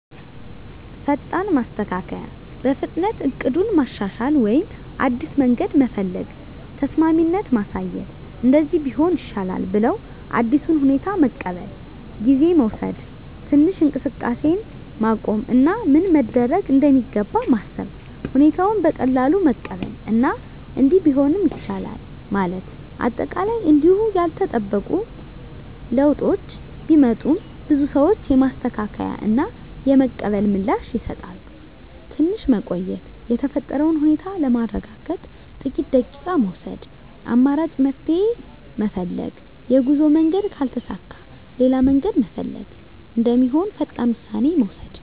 ፈጣን ማስተካከያ – በፍጥነት እቅዱን ማሻሻል ወይም አዲስ መንገድ መፈለግ። ተስማሚነት ማሳየት – “እንደዚህ ቢሆን ይሻላል” ብለው አዲሱን ሁኔታ መቀበል። ጊዜ መውሰድ – ትንሽ እንቅስቃሴን ማቆም እና ምን መደረግ እንደሚገባ ማሰብ። ሁኔታውን በቀላሉ መቀበል እና “እንዲህ ቢሆንም ይቻላል” ማለት። አጠቃላይ እንዲሁ ያልተጠበቁ ለውጦች ቢመጡም፣ ብዙ ሰዎች የማስተካከያ እና የመቀበል ምላሽ ይሰጣሉ። ትንሽ መቆየት – የተፈጠረውን ሁኔታ ለማረጋገጥ ጥቂት ደቂቃ መውሰድ። አማራጭ መፍትሄ ፈልግ – የጉዞ መንገድ ካልተሳካ ሌላ መንገድ መፈለግ እንደሚሆን ፈጣን ውሳኔ መውሰድ።